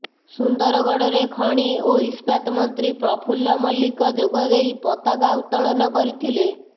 ସୁନ୍ଦରଗଡ଼ରେ ଖଣି ଓ ଇସ୍ପାତ ମନ୍ତ୍ରୀ ପ୍ରଫୁଲ୍ଲ ମଲ୍ଲିକ ଯୋଗଦେଇ ପତାକା ଉତ୍ତୋଳନ କରିଥିଲେ